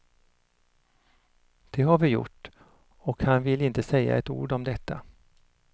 Det har vi gjort, och han vill inte säga ett ord om detta.